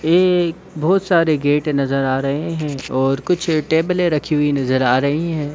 ये बहुत सारे गेट नजर आ रहे हैं और कुछ टेबले रखी हुई नजर आ रही हैं।